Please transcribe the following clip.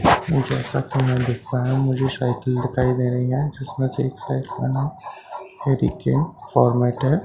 जैसा कि मैं देख पाया हूं मुझे साइकिल दिखाई दे रही है जिसमें से एक साइकिल जिसमें --